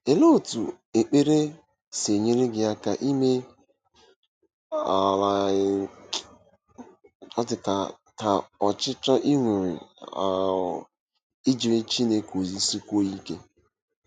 Olee otú ekpere si enyere gị aka ime um um ka ọchịchọ i nwere um ijere Chineke ozi sikwuo ike?